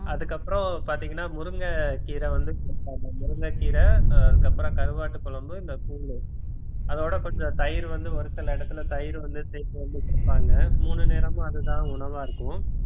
அதுக்கப்புறம் பார்த்தீங்கன்னா முருங்கைக்கீரை வந்து கொடுப்பாங்க முருங்கைக்கீரை அஹ் அதுக்கப்புறம் கருவாட்டு குழம்பு இந்த கூழு அதோட கொஞ்சம் தயிர் வந்து ஒரு சில இடத்துல தயிர் வந்து சேர்த்து வந்து கொடுப்பாங்க மூணு நேரமும் அதுதான் உணவா இருக்கும்